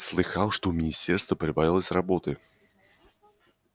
слыхал что у министерства прибавилось работы